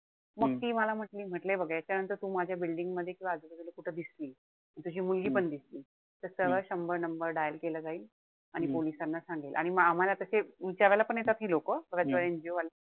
मग ती मला म्हंटली म्हंटल बघ यांच्यानंतर तू माझ्या building मध्ये किंवा आजूबाजूला कुठे दिसली, तुझी मुलगीपण दिसली. तर सरळ शंभर number dial केला जाईल. आणि पोलिसांना सांगेल. आणि म आम्हाला ते विचारायला पण येतात हि लोकं. बऱ्याच वेळा NGO वाले,